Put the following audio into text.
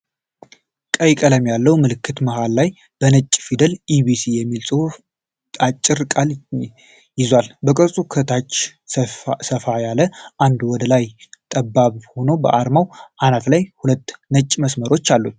ቀይ ቀለም ያለው ምልክት መሃል ላይ በነጭ ፊደላት "ኢቢሲ" የሚል አጭር ቃል ይዟል። የቅርጹ ከታች ሰፋ ያለ እና ወደ ላይ ጠባብ ሆኖ በአርማው አናት ላይ ሁለት ነጭ መስመሮች አሉት።